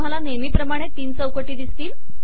तुम्हाला नेहमी प्रमाणे तीन चौकटी दिसतील